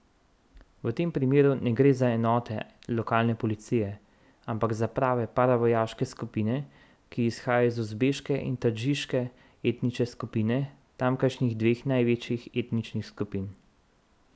V tem primeru ne gre za enote lokalne policije, ampak za prave paravojaške skupine, ki izhajajo iz uzbeške in tadžiške etnične skupine, tamkajšnjih dveh največjih etničnih skupin.